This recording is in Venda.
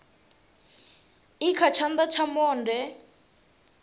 i kha tshana tsha monde